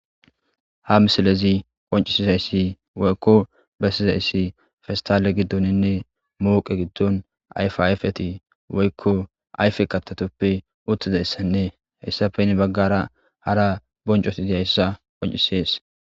Ha misilezi qoncizaysi woykon besizaysi pestale gidonne moqe gidon ayfa ayfeti woykon ayfe kathatatuppe uttidaysanne hesappe heni bagara qaseka boncoti dizaysa qoncisise